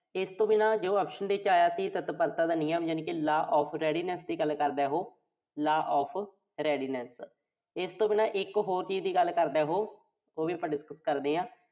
ਤਾਂ ਇਸ ਤੋਂ ਬਿਨਾਂ ਜੋ option ਦੇ ਵਿੱਚ ਆਇਆ ਸੀ ਤਤਪਰਤਾ ਦਾ ਨਿਯਮ ਯਾਨੀ ਕਿ law of readiness ਦੀ ਗੱਲ ਕਰਦਾ ਉਹੋ। law of readiness ਇਸ ਤੋਂ ਬਿਨਾਂ ਇੱਕ ਹੋਰ ਚੀਜ਼ ਦੀ ਗੱਲ ਕਰਦਾ ਓਹੋ, ਉਹ ਵੀ ਆਪਾਂ discuss ਕਰਦੇ ਆਂ।